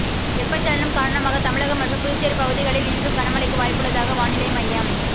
வெப்பச்சலனம் காரணமாக தமிழகம் மற்றும் புதுச்சேரி பகுதிகளில் இன்றும் கனமழைக்கு வாய்ப்புள்ளதாக வானிலை மையம்